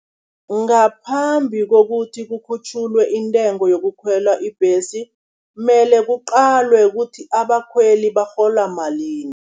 Ngaphambi kokuthi kukhutjhulwe intengo yokukhwela ibhesi, mele kuqalwe kuthi abakhweli barhola malini.